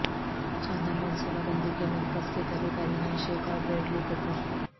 خاندان منصوبہ بندی کے مرکز کے قریب ارینا شیک اور بریڈلی کوپر